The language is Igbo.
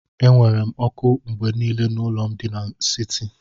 Enwere m oku mgbe niile n'ụlọ m di n'siti.